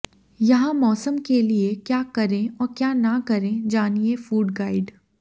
यहां मौसम के लिए क्या करें और क्या न करें जानिए फूड गाइड